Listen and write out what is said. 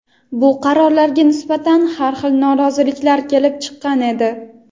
bu qarorlarga nisbatan har xil noroziliklar kelib chiqqan edi.